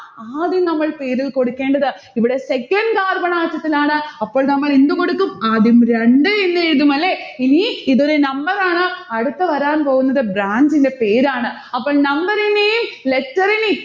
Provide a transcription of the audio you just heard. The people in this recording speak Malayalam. ആദ്യം നമ്മൾ പേരിൽ കൊടുക്കേണ്ടത്. ഇവിടെ second carbon atom ത്തിലാണ് അപ്പോൾ നമ്മൾ എന്ത് കൊടുക്കും ആദ്യം രണ്ട് എന്നെഴുതും അല്ലെ? ഇനി ഇതൊരു number ആണ് അടുത്ത വരാൻ പോകുന്നത് branch ന്റെ പേരാണ്. അപ്പോൾ number ഇനെയും letter ഇനേയും